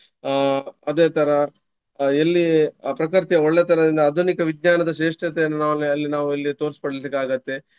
ಅಹ್ ಅದೇ ತರ ಎಲ್ಲಿ ಪ್ರಕೃತಿಯ ಒಳ್ಳೆ ತರದಿಂದ ಆಧುನಿಕ ವಿಜ್ಞಾನದ ಶ್ರೇಷ್ಟತೆಯನ್ನು ನಾವು ಅಲ್ಲಿ ನಾವು ಅಲ್ಲಿ ತೋರ್ಸ್ಪಡ್ಲಿಕ್ಕೆ ಆಗತ್ತೆ.